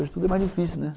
Hoje tudo é mais difícil, né?